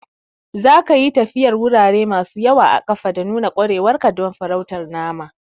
Zaka yi tafiyar wurare masu yawa a ƙafa da nuna ƙwarewar ka don farautar naman.